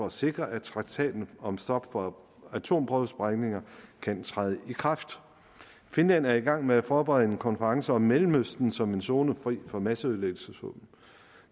at sikre at traktaten om stop for atomprøvesprængninger kan træde i kraft finland er i gang med at forberede en konference om mellemøsten som en zone fri for masseødelæggelsesvåben